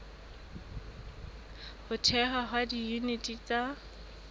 ho thehwa ha diyuniti tsa